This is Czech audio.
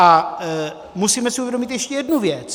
A musíme si uvědomit ještě jednu věc.